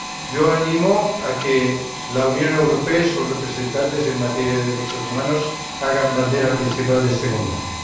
Yo animo a que la Unión Europea y sus representantes en materia de derechos humanos hagan bandera principal de este combate.